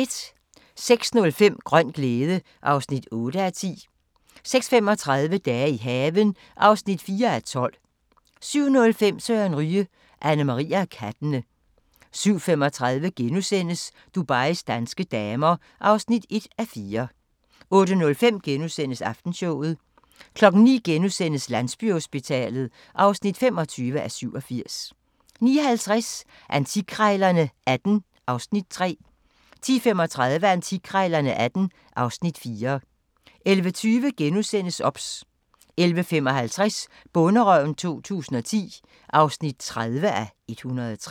06:05: Grøn glæde (8:10) 06:35: Dage i haven (4:12) 07:05: Søren Ryge: Annemarie og kattene 07:35: Dubais danske damer (1:4)* 08:05: Aftenshowet * 09:00: Landsbyhospitalet (25:87)* 09:50: Antikkrejlerne XVIII (Afs. 3) 10:35: Antikkrejlerne XVIII (Afs. 4) 11:20: OBS * 11:55: Bonderøven 2010 (30:103)